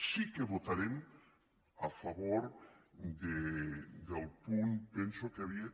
sí que votarem a favor del punt penso que hi havia